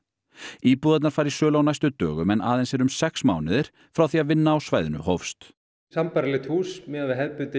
íbúðirnar fara í sölu á næstu dögum en aðeins eru um sex mánuðir frá því að vinna á svæðinu hófst sambærilegt hús miðað við hefðbundinn